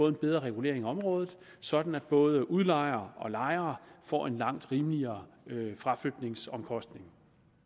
en bedre regulering af området sådan at både udlejere og lejere får en langt rimeligere fraflytningsomkostning